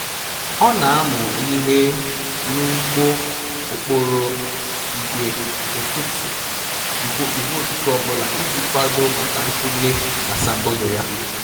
Ọ na-amụ ihe n'ụgbọ okporo igwe ụtụtụ ọ bụla iji kwado maka ntule asambodo ya.